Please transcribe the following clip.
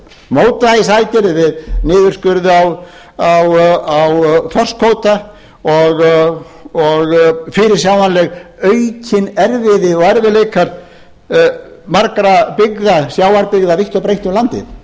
mótvægisaðgerðir við niðurskurð á þorskkvóta og fyrirsjáanleg aukið erfiði og erfiðleikar margra byggða sjávarbyggða vítt og breitt um landið